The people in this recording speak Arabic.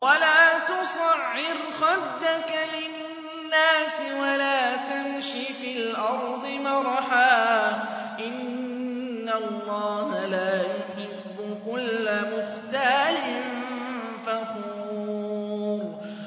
وَلَا تُصَعِّرْ خَدَّكَ لِلنَّاسِ وَلَا تَمْشِ فِي الْأَرْضِ مَرَحًا ۖ إِنَّ اللَّهَ لَا يُحِبُّ كُلَّ مُخْتَالٍ فَخُورٍ